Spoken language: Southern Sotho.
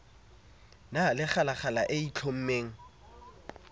na le kgalala e itlhommeng